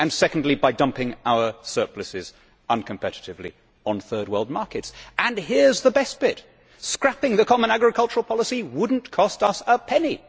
secondly, by dumping our surpluses uncompetitively on Third World markets. Here is the best bit scrapping the common agricultural policy would not cost us a penny.